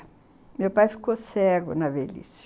Meu pai ficou cego na velhice.